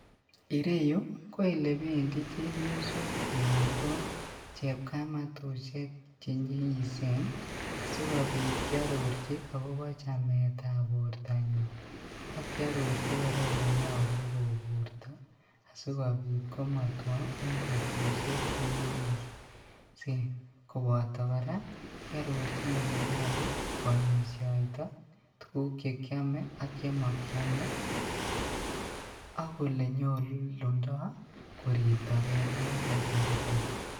Ireyu ko olebendi chepyosok anan ko chepkamatushek chenyigisen sikobit kiororji akobo chametab bortanywan, ak kiororji koraa olenyolu koburto sikobit komotwo en betushek chenyigisen ,loboto koraa kiborjin ole nyolu kwomishoitoi tuguk chekiome ak chemokiome ak ole nyolundo koribto gee en kasaritok.